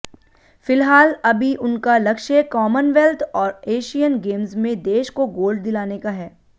फिलहाल अभी उनका लक्ष्य कॉमनवेल्थ और एशियन गेम्स में देश को गोल्ड दिलाने का है